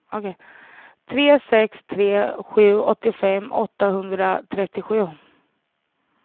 tre sex tre sju åttiofem åttahundratrettiosju